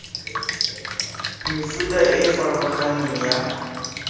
mefuta e e farologaneng ya